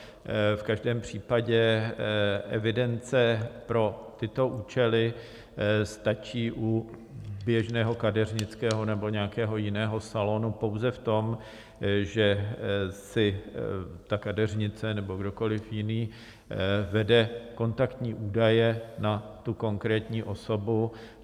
V každém případě evidence pro tyto účely stačí u běžného kadeřnického nebo nějakého jiného salonu pouze v tom, že si ta kadeřnice nebo kdokoliv jiný vedou kontaktní údaje na tu konkrétní osobu.